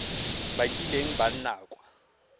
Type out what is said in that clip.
ba kileng ba nna kwa